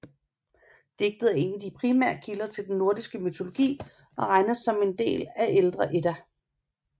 Digtet er en af de primære kilder til den nordiske mytologi og regnes som en del af ældre Edda